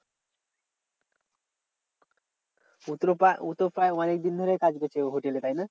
ও তো প্রায় অনেক দিন ধরেই কাজ করছে হোটেলে তাই না?